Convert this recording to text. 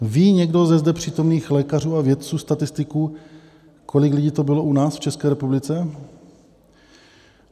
Ví někdo ze zde přítomných lékařů a vědců, statistiků, kolik lidí to bylo u nás v České republice?